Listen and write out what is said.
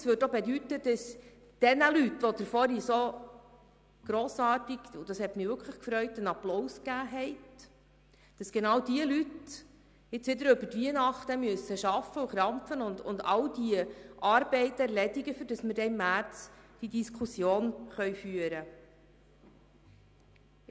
Es würde auch bedeuten, dass genau diejenigen Leute, denen Sie vorhin applaudiert haben, was mich sehr gefreut hat, jetzt wieder über Weihnachten arbeiten und all diese Arbeiten erledigen müssten, damit wir dann im März diese Diskussion führen können.